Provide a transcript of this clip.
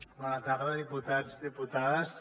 bona tarda diputats diputades